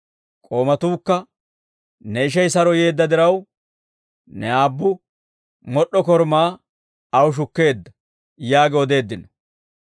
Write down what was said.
K'oomatuukka, ‹Ne ishay saro yeedda diraw, ne aabbu mod'd'o korumaa aw shukkeedda› yaagi odeeddino.